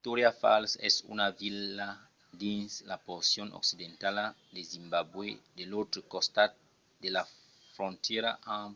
victoria falls es una vila dins la porcion occidentala de zimbabwe de l'autre costat de la frontièra amb